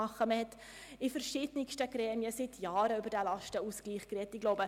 Man hat seit Jahren in verschiedensten Gremien über diesen Lastenausgleich gesprochen.